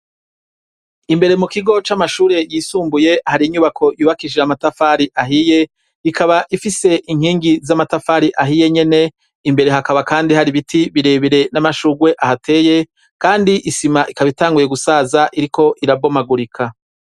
Imbere mu kigo c'amashure yisumbuye hari inyubako yubakishije amatafari ahiye; ikaba ifise inkingi z'amatafari ahiye nyene; imbere hakaba kandi hari biti birebere n'amashurwe ahateye. Kandi isima ikaba itanguye gusaza iriko irabomagurika.